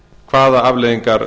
hvaða afleiðingar